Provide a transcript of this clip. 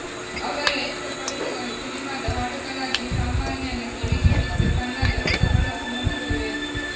ಅವರ ಎಷ್ಟೋ ಕವಿತೆಗಳು ಸಿನಿಮಾದ ಹಾಡುಗಳಾಗಿ ಸಾಮಾನ್ಯನ ಕಿವಿಗೆ ಬಿದ್ದು ಕಣ್ಣಲ್ಲಿ ಹೊಸ ಹೊಳಪು ಮೂಡಿಸಿವೆ